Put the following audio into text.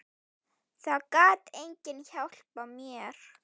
Það gat enginn hjálpað mér.